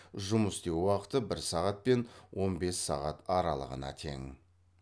жұмыс істеу уақыты бір сағат пен он бес сағат аралығына тең